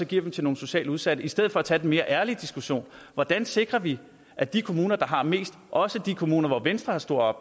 giver til nogle socialt udsatte i stedet for at tage den mere ærlige diskussion hvordan sikrer vi at de kommuner der har mest også de kommuner hvor venstre har stor